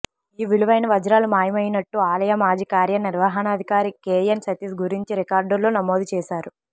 ఈ విలువైన వజ్రాలు మాయమైనట్టు ఆలయ మాజీ కార్యనిర్వహణాధికారి కెఎన్ సతీష్ గుర్తించి రికార్డుల్లో నమోదు చేశారు